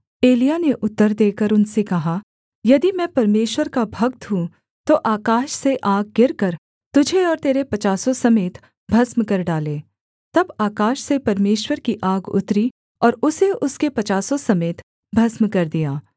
एलिय्याह ने उत्तर देकर उनसे कहा यदि मैं परमेश्वर का भक्त हूँ तो आकाश से आग गिरकर तुझे और तेरे पचासों समेत भस्म कर डाले तब आकाश से परमेश्वर की आग उतरी और उसे उसके पचासों समेत भस्म कर दिया